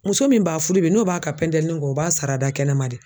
Muso min ba fudu bi n'o b'a ka pɛntɛlini ko o b'a sarada kɛnɛma de.